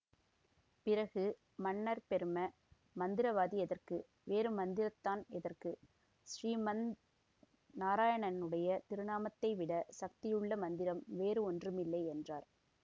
பிறகு மன்னர் பெரும மந்திரவாதி எதற்கு வேறு மந்திரந்தான் எதற்கு ஸ்ரீ மந் நாராயணனுடைய திருநாமத்தை விட சக்தியுள்ள மந்திரம் வேறு ஒன்றுமில்லை என்றார்